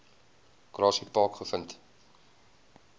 grassy park gevind